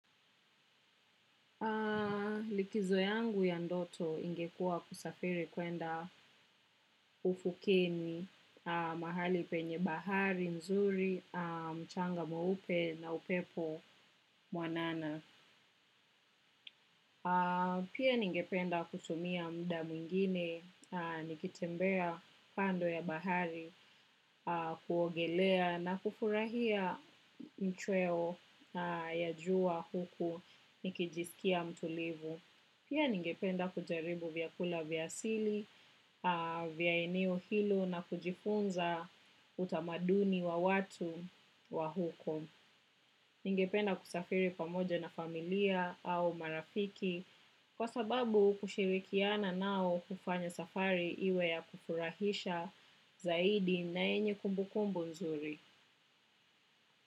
Likizo yangu ya ndoto ingekua kusafiri kwenda ufukeni, mahali penye bahari mzuri, mchanga mweupe na upepo mwanana. Pia ningependa kutumia muda mwingine, nikitembea kando ya bahari kuogelea na kufurahia machweo ya jua huku nikijisikia mtulivu. Pia ningependa kujaribu vyakula vya asili, vya eneo hilo na kujifunza utamaduni wa watu wa huko. Ningependa kusafiri pamoja na familia au marafiki kwa sababu kushirikiana nao hufanya safari iwe ya kufurahisha zaidi na yenye kumbukumbu nzuri.